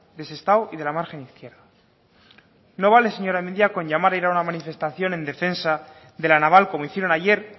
de sestao y de la margen izquierda no vale señora mendia con llamar a ir a una manifestación en defensa de la naval como hicieron ayer